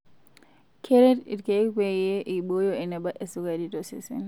Keret ilkeek pee eibooyo eneba esukari tosesen.